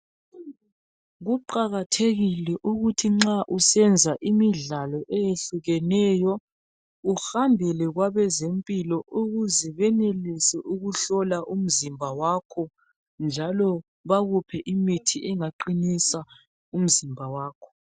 Kuqakathekile ukuthi nxa usenza imidlalo eyehlukeneyo uhambele kwabe zempilo ukuze benelise ukuhlola umzimba wakho njalo bakuphe imithi engaqinisa umzimba wakho.